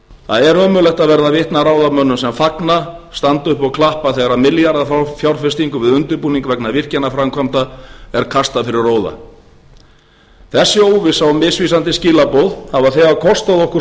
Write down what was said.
það er ömurlegt að verða vitni að ráðamönnum sem fagna standa upp og klappa þegar milljarðafjárfestingu við undirbúning vegna virkjanaframkvæmda er kastað fyrir róða þessi óvissa og misvísandi skilaboð hafa þegar kostað okkur